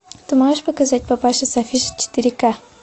ты можешь показать папаша с афиши четыре ка